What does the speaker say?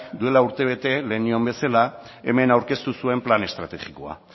duela urtebete lehen nioen bezala hemen aurkeztu zuen plan estrategikoa